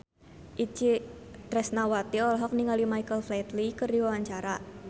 Itje Tresnawati olohok ningali Michael Flatley keur diwawancara